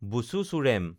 বুচু চুৰেম